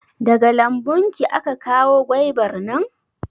Daga lambun ki aka kawo gwaibar nan?